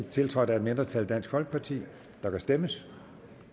tiltrådt af et mindretal der kan stemmes